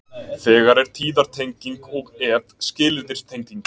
Þegar er tíðartenging og ef skilyrðistenging.